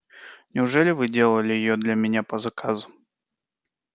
неужели вы делали её для меня по заказу